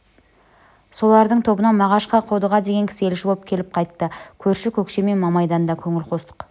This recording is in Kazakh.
солардың тобынан мағашқа қодыға деген кісі елші боп келіп қайтты көрші көкше мен мамайдан да көңілқостық